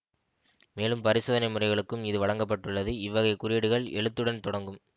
மேலும் பரிசோதனை முறைகளுக்கும் இது வழங்க பட்டுள்ளது இவ்வகை குறியீடுகள் எழுத்துடன் தொடங்கும்